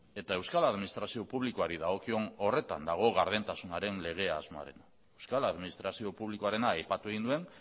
eta euskal administrazio publikoari dagokion horretan dago gardentasunaren lege asmoarena euskal administrazio publikoarena aipatu egin nuen